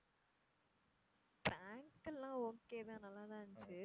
prank எல்லாம் okay தான் நல்லா தான் இருந்தச்சு.